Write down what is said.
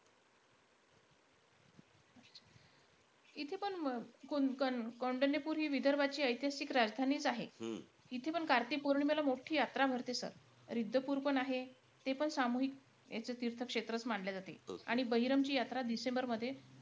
इथेपण कौण कौंडण्यपूर हि विदर्भाची इतिहासीक राजधानीचं आहे. इथेपण कार्तिक पौर्णिमेला मोठी यात्रा भरते sir. रिद्धपुरपण आहे. तेपण सामूहिक असं तीर्थंक्षेत्र मानले जाते. आणि बहिरमची यात्रा डिसेंबरमध्ये,